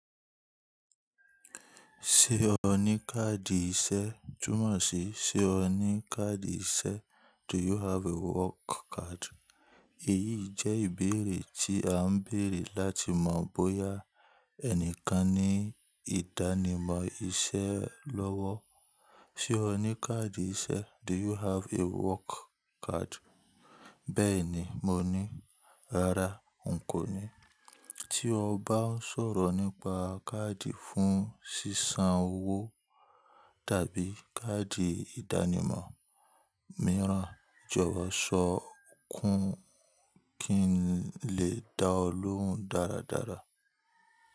Ṣé o ní káàdì iṣẹ́? Túmọ̀ sí, ṣe o ní káàdì iṣẹ́? Do you have a work card? Èyí jẹ́ ìbéèrè tí à ń béèrè láti mọ̀ bóyá ẹnìkan ní ìdánimọ̀ iṣẹ́ lọ́wọ́. Ṣé o ní káàdì iṣẹ́? Do you have a work card? Bẹ́ẹ̀ni, mo ní. Rárá, n kò ní. Tí o bá ń sọ̀rọ̀ nípa káàdì fún ṣíṣán owó tàbí káàdì ìdánimọ̀ mìíràn, jọwo sọ kùn kín lè dá ọ lóhùn dáradára.